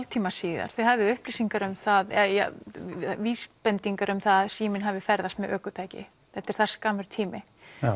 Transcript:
hálftíma síðar þið hafið upplýsingar um það vísbendingar um það að síminn hafi ferðast með ökutæki þetta er það skammur tími